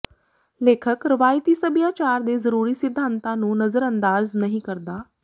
ਲੇਖਕ ਰਵਾਇਤੀ ਸੱਭਿਆਚਾਰ ਦੇ ਜ਼ਰੂਰੀ ਸਿਧਾਂਤਾਂ ਨੂੰ ਨਜ਼ਰਅੰਦਾਜ਼ ਨਹੀਂ ਕਰਦਾ